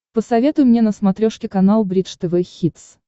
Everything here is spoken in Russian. посоветуй мне на смотрешке канал бридж тв хитс